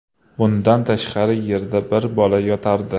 Bundan tashqari yerda bir bola yotardi.